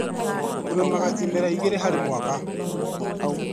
Tũrĩmaga imera igĩrĩ harĩ mwaka.